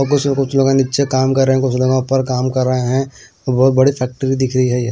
कुछ लोग नीचे काम कर रहे हैं कुछ लोग ऊपर काम कर रहे हैं बहुत बड़ी फैक्ट्री दिख रही है।